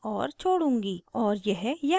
और यह यहाँ है